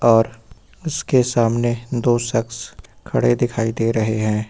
और उसके सामने दो शख्स खड़े दिखाई दे रहे हैं।